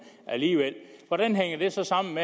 alligevel hvordan hænger det så sammen